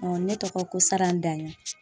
ne tɔgɔ ko Saran daɲɔn